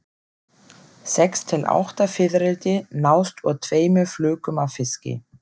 Sex til átta fiðrildi nást úr tveimur flökum af fiski.